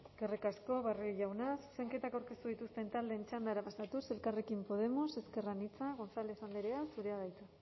eskerrik asko barrio jauna zuzenketak aurkeztu dituzten taldeen txandara pasatuz elkarrekin podemos ezker anitza gonzález andrea zurea da hitza